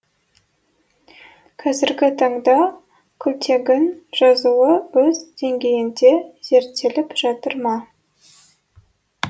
қазіргі таңда күлтегін жазуы өз деңгейінде зерттеліп жатыр ма